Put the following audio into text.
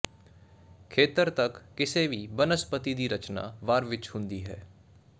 ਖੇਤਰ ਤੱਕ ਕਿਸੇ ਵੀ ਬਨਸਪਤੀ ਦੀ ਰਚਨਾ ਵਾਰ ਵਿੱਚ ਹੁੰਦੀ ਹੈ